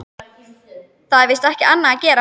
Það er víst ekki annað að gera.